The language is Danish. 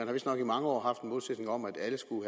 har vistnok i mange år haft en målsætning om at alle skulle